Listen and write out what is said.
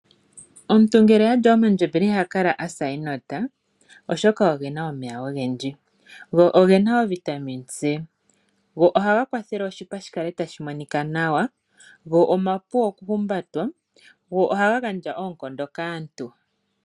Omuntu ngele alya omandjembele iha kala asa enota. Oshoka ogena omeya ogendji go ogena o vitamine C. Go ohaga kwathele oshipa shikale tashi monika nawa. Go omapu oku humbatwa go ohaga gandja oonkondo kaantu.